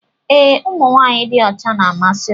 Ee ụmụ nwanyị dị ọcha na-amasị m